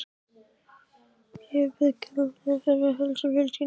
Ég bið kærlega að heilsa fjölskyldunni.